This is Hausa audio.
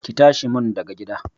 Ki tashi mun daga gida!